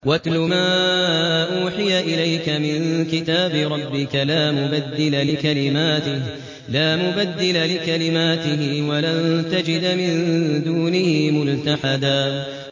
وَاتْلُ مَا أُوحِيَ إِلَيْكَ مِن كِتَابِ رَبِّكَ ۖ لَا مُبَدِّلَ لِكَلِمَاتِهِ وَلَن تَجِدَ مِن دُونِهِ مُلْتَحَدًا